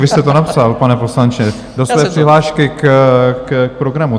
Vy jste to napsal, pane poslanče, do své přihlášky k programu.